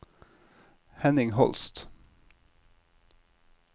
Henning Holst